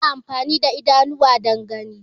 Ana amfani da idanuwa dan gani